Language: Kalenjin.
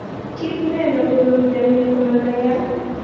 Kit ne gonu mioni komanayat.